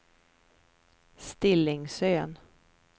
Stillingsön